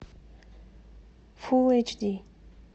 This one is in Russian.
фул эйч ди